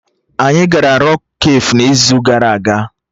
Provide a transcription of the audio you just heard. Anyị gara Rọk kafe n'izu gara aga